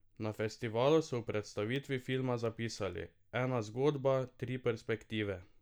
Na festivalu so v predstavitvi filma zapisali: "Ena zgodba, tri perspektive.